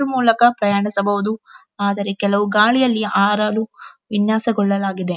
ಇದ್ರ ಮೂಲಕ ಪ್ರಯಾಣಿಸಬಹುದು ಆದರೆ ಕೆಲವು ಗಾಳಿಯಲ್ಲಿ ಹಾರಲು ವಿನ್ಯಾಸಗೊಳ್ಳಲಾಗಿದೆ.